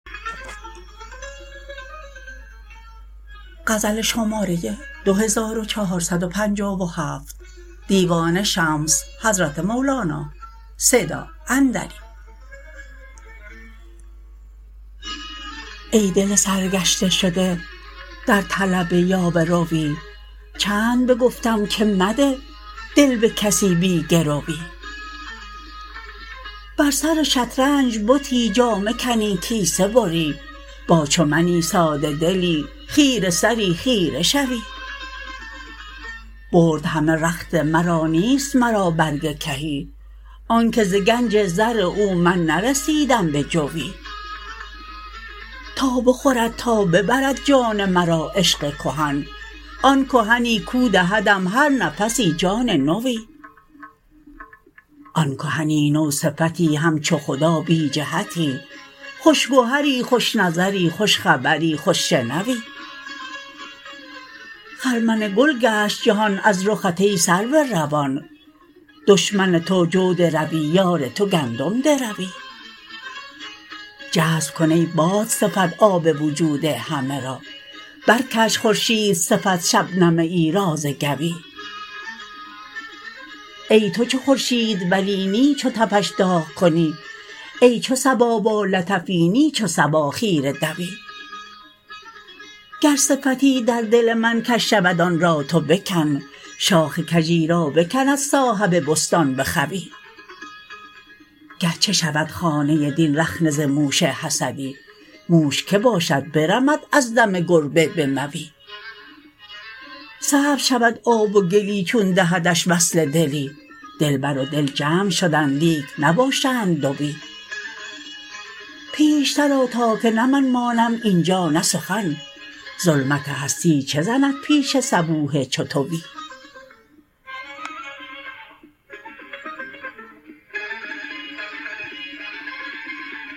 ای دل سرگشته شده در طلب یاوه روی چند بگفتم که مده دل به کسی بی گرو ی بر سر شطرنج بتی جامه کنی کیسه بری با چو منی ساده دلی خیره سری خیره شوی برد همه رخت مرا نیست مرا برگ کهی آنک ز گنج زر او من نرسیدم به جوی تا بخورد تا ببرد جان مرا عشق کهن آن کهنی کاو دهدم هر نفسی جان نوی آن کهنی نو صفتی همچو خدا بی جهتی خوش گهر ی خوش نظر ی خوش خبر ی خوش شنو ی خرمن گل گشت جهان از رخت ای سرو روان دشمن تو جو دروی یار تو گندم دروی جذب کن ای باد صفت آب وجود همه را برکش خورشید صفت شبنمه ای را ز گوی ای تو چو خورشید ولی نی چو تفش داغ کنی ای چو صبا با لطفی نی چو صبا خیره دوی گر صفتی در دل من کژ شود آن را تو بکن شاخ کژی را بکند صاحب بستان به خوی گرچه شود خانه دین رخنه ز موش حسدی موش کی باشد برمد از دم گربه به موی سبز شود آب و گلی چون دهدش وصل دلی دلبر و دل جمع شدند لیک نباشند دوی پیشتر آ تا که نه من مانم این جا نه سخن ظلمت هستی چه زند پیش صبوح چو توی